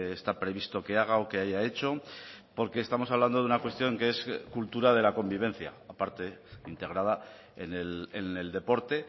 está previsto que haga o que haya hecho porque estamos hablando de una cuestión que es cultura de la convivencia aparte integrada en el deporte